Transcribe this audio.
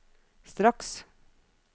straks